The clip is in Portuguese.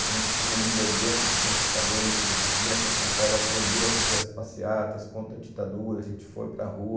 A gente, como líder dentro do centro acadêmico, vinha para São Paulo aprender a fazer as passeatas contra a ditadura, a gente foi para a rua.